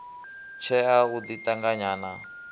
tshea u ḓi ṱanganya na